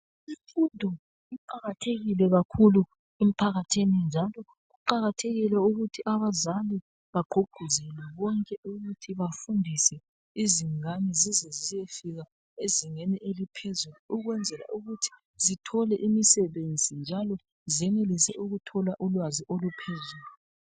Imfundo iqakathekile kakhulu emphakathini njalo kuqakathekile ukuthi abazali bagqugquzelwe bonke ukuthi bafundise izingane zize ziyefika ezingeni eliphezulu ukwenzela ukuthi zithole imisebenzi njalo zenelise ukuthola ulwazi oluphezulu.